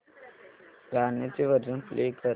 गाण्याचे version play कर